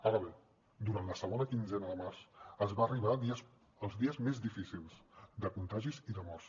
ara bé durant la segona quinzena de març es va arribar als dies més difícils de contagis i de morts